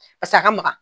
Paseke a ka magan